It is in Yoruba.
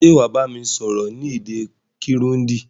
Sé wàá bámi sọ́rọ́ ni èdè Kirundi